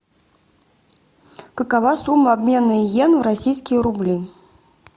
какова сумма обмена иен в российские рубли